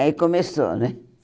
Aí começou, né?